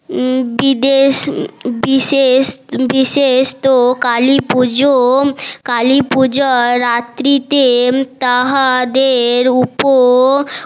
বিদেশ বিশেষ বিশেষ তো কালী পূজো কালী পূজোর রাত্রি তে তাহাদের উপর